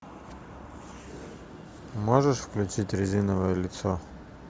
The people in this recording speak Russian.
можешь включить резиновое лицо